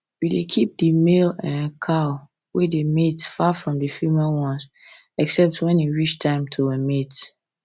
we dey keep the male um cow wey dey mate far from the female ones except when e time to um mate